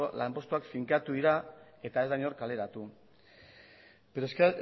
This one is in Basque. lanpostuak finkatu dira eta ez da inor kaleratu pero es que